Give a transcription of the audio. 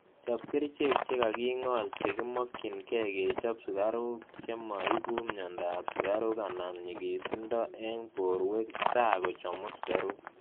Chop kerichek chegag'ing'ol chegimokyiinke kechop sugaruk chemo iibuu mny'aandap suraruk anan nyig'iisindo eng' borwek taa kochomuu sugaruuk